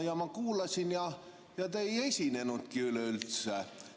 Ma kuulasin – ja te ei esinenudki üleüldse.